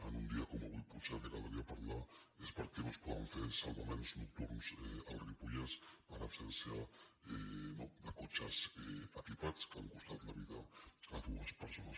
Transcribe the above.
en un dia com avui potser del que caldria parlar és de per què no es poden fer salvaments nocturns al ripollès per absència no de cotxes equipats que han costat la vida a dues persones